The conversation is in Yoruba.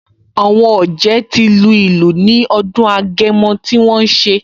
Àwọn ọ̀jẹ̀ ti lu ìlù ní ọdún Agẹmọ tí wọ́n ṣe